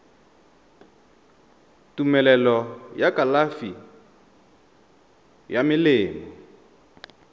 tumelelo ya kalafi ya melemo